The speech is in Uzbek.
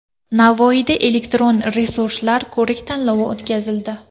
Navoiyda elektron resurslar ko‘rik-tanlovi o‘tkazildi.